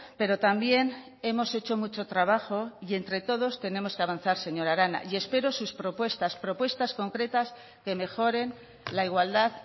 pero también hemos hecho mucho trabajo y entre todos tenemos que avanzar señora arana y espero sus propuestas propuestas concretas que mejoren la igualdad